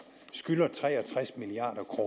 skylder tre og tres milliard